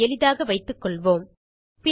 ஆகவே எளிதாக வைத்துக்கொள்வோம்